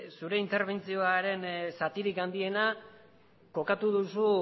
zure interbentzioaren zatirik handiena kokatu duzu